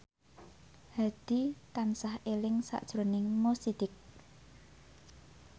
Hadi tansah eling sakjroning Mo Sidik